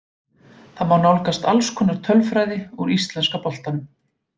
Þar má nálgast alls konar tölfræði úr íslenska boltanum.